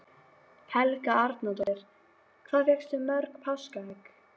Helga Arnardóttir: Hvað fékkstu mörg páskaegg?